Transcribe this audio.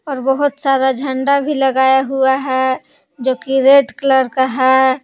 और बहुत सारा झंडा भी लगाया हुआ है जो कि रेड कलर का है।